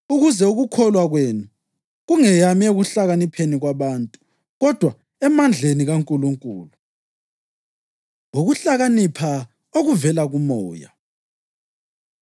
ukuze ukukholwa kwenu kungeyami ekuhlakanipheni kwabantu, kodwa emandleni kaNkulunkulu. Ukuhlakanipha Okuvela KuMoya